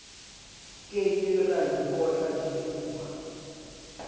ke ke ra ikotla difuba